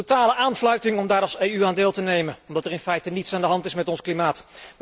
Een totale aanfluiting om daar als EU aan deel te nemen, omdat er in feite niets aan de hand is met ons klimaat.